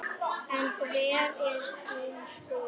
En hver er þín skoðun?